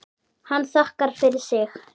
Hann þakkar fyrir sig.